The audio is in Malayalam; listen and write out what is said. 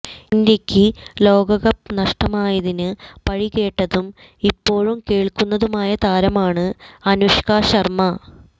ഇന്ത്യയ്ക്ക് ലോകകപ്പ് നഷ്ടമായതിന് പഴികേട്ടതും ഇപ്പോഴും കേള്ക്കുന്നതുമായ താരമാണ് അനുഷ്ക ശര്മ്മ